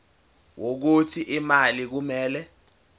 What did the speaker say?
wokuthi imali kumele